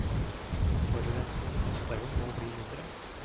Forurensningen og støyen må bli mindre.